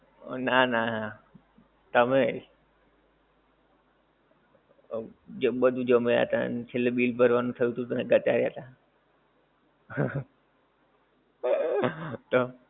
નાં નાં, તમેય. જે બધુ જમ્યા તાં ને છેલ્લે બિલ ભરવાનું આવ્યું ત્યારે તમે ઘટાયાં તા